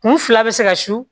Kun fila bɛ se ka su